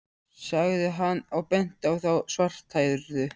sagði hann og benti á þá svarthærðu.